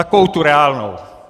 Takovou tu reálnou.